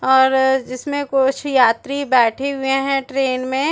और इसमें कुछ यात्री बैठे हुए है ट्रैन मे--